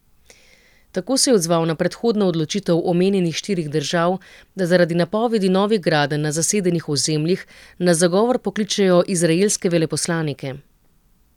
Tako se je odzval na predhodno odločitev omenjenih štirih držav, da zaradi napovedi novih gradenj na zasedenih ozemljih na zagovor pokličejo izraelske veleposlanike.